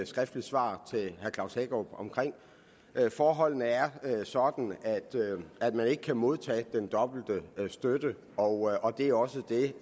skriftligt svar til herre klaus hækkerup forholdene er sådan at man ikke kan modtage den dobbelte støtte og det er også det